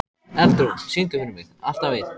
Eldrún, syngdu fyrir mig „Alltaf einn“.